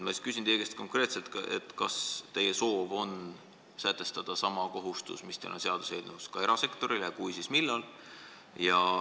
Ma küsin teie käest konkreetselt, kas teie soov on sätestada sama kohustus, mis teil on seaduseelnõus, ka erasektorile, ja kui, siis millal.